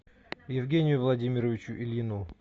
евгению владимировичу ильину